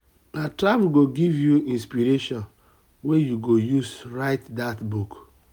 na travel go give you inspiration wey you go use write dat book.